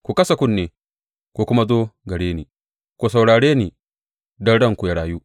Ku kasa kunne ku kuma zo gare ni; ku saurare ni, don ranku ya rayu.